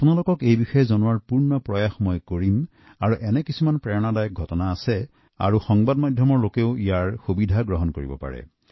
আপোনালোকে এইবোৰ তথ্য পাব পাৰিব আৰু তেনে উৎসাহজনক ঘটনা সংবাদমাধ্যমতো প্ৰচাৰ কৰিব পাৰে